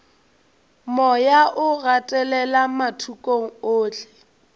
moya o gatelela mathokong ohle